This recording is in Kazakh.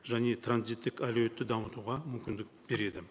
және транзиттік әлеуетті дамытуға мүмкіндік береді